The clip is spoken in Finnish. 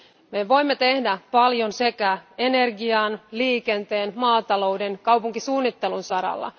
Me voimme tehdä paljon sekä energian, liikenteen, maatalouden ja kaupunkisuunnittelun saralla.